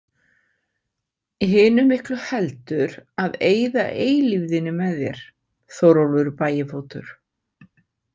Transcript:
Hinu miklu heldur að eyða eilífðinni með þér, Þórólfur bægifótur.